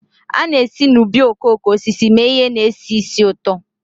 A na-esi n'ubi okooko osisi mee ihe na-esi ísì ụtọ